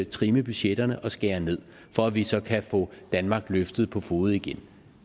trimme budgetterne og skære ned for at vi så kan få danmark løftet på fode igen